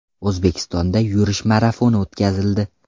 O‘zbekistonda yurish marafoni o‘tkazildi.